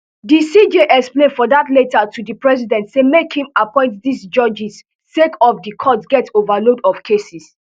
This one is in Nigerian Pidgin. di cj explain for dat letter to di president say make im appoint dis judges sake of di court get overload of cases